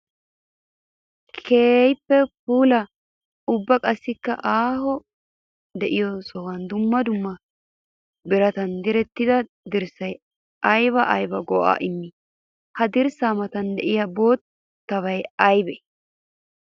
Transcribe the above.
Keehippe puula ubba qassikka aaho de'iyo sohuwan dumma dumma biratan direttiddi dirssay aybba aybba go'a immi? Ha dirssa matan de'iya boottay aybbe?